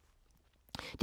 DR1